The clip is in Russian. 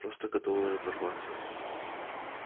просто готовы разорваться